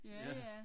Ja ja